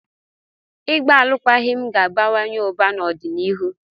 Ịgba alụkwaghịm ga-abawanye ụba n'ọdịnihu.